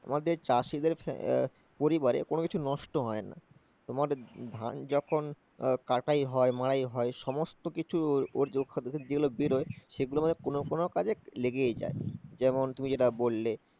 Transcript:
তোমার যে চাষিদের পরিবারে কোনো কিছু নষ্ট হয় না, তোমার ধান কাটাই হয়, মাড়াই হয় সমস্ত কিছু ওর থেকে যেগুলো বের হয় সেগুলো কোনো কোনো কাজে লেগেই যায়। যেমন তুমি যেটা বললে